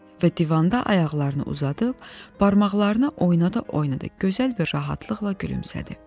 Və divanda ayaqlarını uzadıb, barmaqlarını oynada-oynada gözəl bir rahatlıqla gülümsədi.